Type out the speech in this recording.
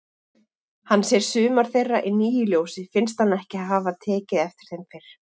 Hann sér sumar þeirra í nýju ljósi, finnst hann ekki hafa tekið eftir þeim fyrr.